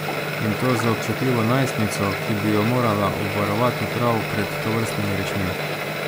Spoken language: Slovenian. In to z občutljivo najstnico, ki bi jo morala obvarovati prav pred tovrstnimi rečmi.